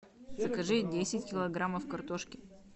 закажи десять килограммов картошки